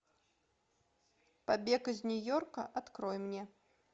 побег из нью йорка открой мне